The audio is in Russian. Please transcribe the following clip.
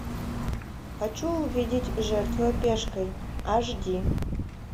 хочу увидеть жертвуя пешкой аш ди